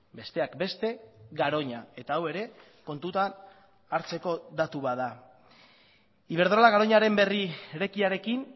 besteak beste garoña eta hau ere kontutan hartzeko datu bat da iberdrola garoñaren berrirekiarekin